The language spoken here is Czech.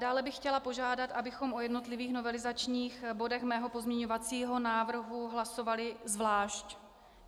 Dále bych chtěla požádat, abychom o jednotlivých novelizačních bodech mého pozměňovacího návrhu hlasovali zvlášť.